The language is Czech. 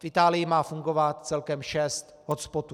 V Itálii má fungovat celkem šest hotspotů.